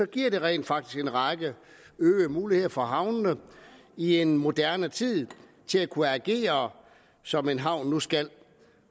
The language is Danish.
giver det rent faktisk en række øgede muligheder for havnene i en moderne tid til at kunne agere som en havn nu skal